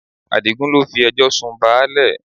Adigun ló fi ẹjọ́ sun báálẹ̀